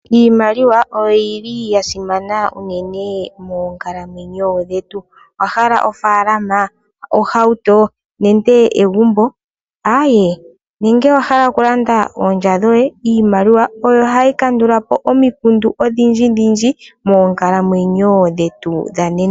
Iimaliwa oyili ya simana unene moonkalamwenyo dhetu. Owa hala oofaalama, ohawuto, nenge egumbo, aaye nenge owa hala oku landa oolya dhoye? Iimaliwa oyo hayi kandulapo omikundu odhindjindhindji moonkalamwenyo dhetu dhonena.